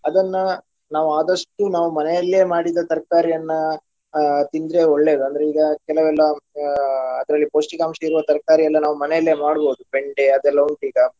ಅದನ್ನ ನಾವು ಆದಷ್ಟು ನಾವು ಮನೆಯಲ್ಲಿಯೇ ಮಾಡಿದ ತರ್ಕಾರಿಯನ್ನ ಅಹ್ ತಿಂದ್ರೆ ಒಳ್ಳೆಯದು ಅಂದ್ರೆ ಈಗ ಕೆಲವೆಲ್ಲ ಹಾ ಅದರಲ್ಲಿ ಪೌಷ್ಟಿಕಾಂಶ ಇರುವ ತರ್ಕಾರಿಯೆಲ್ಲ ನಾವು ಮನೆಯಲ್ಲೇ ಮಾಡ್ಬೋದು ಬೆಂಡೆ ಅದೆಲ್ಲಾ ಉಂಟು ಈಗ.